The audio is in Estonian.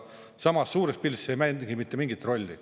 Samas, suures pildis see ei mängi mingit rolli.